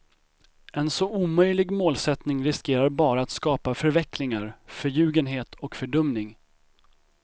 En så omöjlig målsättning riskerar bara att skapa förvecklingar, förljugenhet och fördumning.